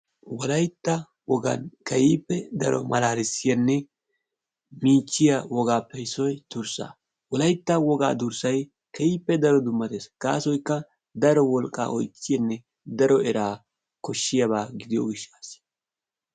wolaytta wogaan keehippe daro malaalisiyaanne miichchiyaa wogaappe issoy durssaa. wolaytta wogaa durssay keehippe daro dummatees. gaasoykka daro wolqqaa oychisiyaanne daro eraa kooshiyaaba gidiyoo giishshasi.